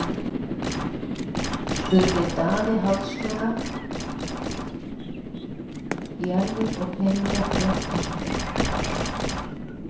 spurði Daði háðslega: Jarðir og peninga, rétt eins og ég.